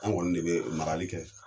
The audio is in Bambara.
Anw kɔni de bɛ marali kɛ